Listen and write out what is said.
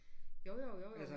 Jo jo jo jo